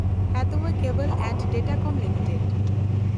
Hathway Cable and Datacom limited